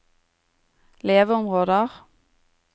leveområder